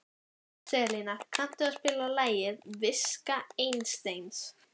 Salína, kanntu að spila lagið „Viska Einsteins“?